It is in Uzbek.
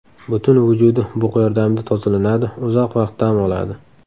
Butun vujud bug‘ yordamida tozalanadi, uzoq vaqt dam oladi.